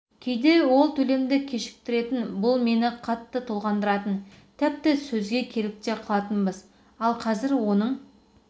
кейде ол төлемді кешіктіретін бұл мені қатты толғандыратын тіпті сөзге келіп те қалатынбыз ал қазір оның